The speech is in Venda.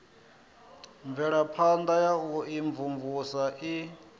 mvelaphana ya u imvumvusa i